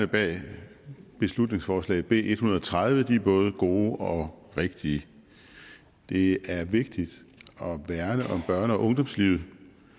bag beslutningsforslag nummer b en hundrede og tredive er både gode og rigtige det er vigtigt at værne om børne og ungdomslivet